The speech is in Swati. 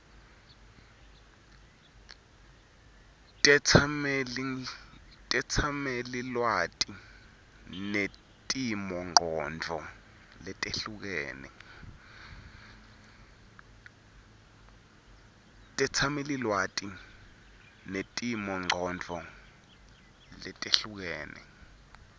tetsamelilwati netimongcondvo letehlukene